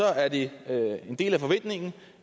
er det en del af forventningen